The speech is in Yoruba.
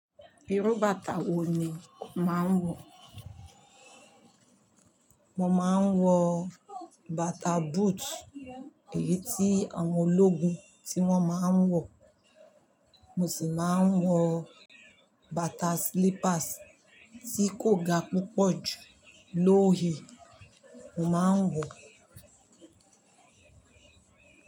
Irú bàtà wo ni o màá ń wọ̀? Mo máa ń wọ bàtà boot, èyí tí àwọn ológun tí wọ́n máa ń wọ̀. Mo sì máa ń wọ bàtà slippers tí kò ga púpọ̀ jù low heel, mo máa ń wọ̀.